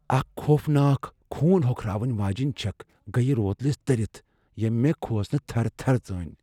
اکھ خوفناک، خون ہوكھراون ویجینہِ چِكھ ، گیہ روتلِس ترِتھ ، ییمہِ مے٘ كھوژنہٕ تھرٕ تھرٕ ژٲنۍ ۔